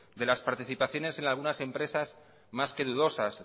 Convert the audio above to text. de la participaciones en algunas de las empresas más que dudosas